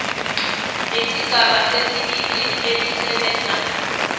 lesigaba sesibili elisebenza